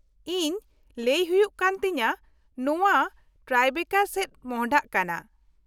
ᱤᱧ ᱞᱟ.ᱭ ᱦᱩᱭᱩᱜ ᱠᱟᱱ ᱛᱤᱧᱟ.,ᱱᱚᱶᱟ ᱴᱨᱟᱭᱵᱮᱠᱟᱨ ᱥᱮᱡ ᱢᱚᱸᱦᱰᱟᱜ ᱠᱟᱱᱟ ᱾